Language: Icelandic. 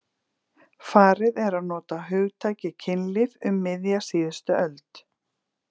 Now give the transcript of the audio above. Farið er að nota hugtakið kynlíf um miðja síðustu öld.